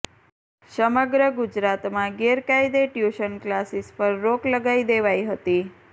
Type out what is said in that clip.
સમગ્ર ગુજરાતમાં ગેરકાયદે ટ્યુશન ક્લાસીસ પર રોક લગાવી દેવાઈ હતી